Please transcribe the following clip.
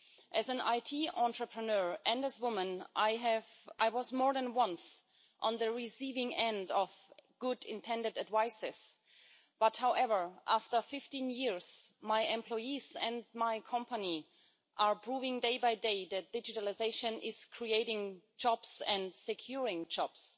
As an IT entrepreneur and as a woman, I was more than once on the receiving end of well intended advice. However, after 15 years, my employees and my company are proving, day by day, that digitalisation is creating jobs and securing jobs.